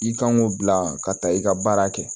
I kan k'o bila ka taa i ka baara kɛ